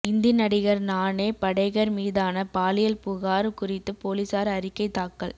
இந்தி நடிகர் நானே படேகர் மீதான பாலியல் புகார் குறித்து போலீசார் அறிக்கை தாக்கல்